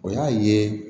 O y'a ye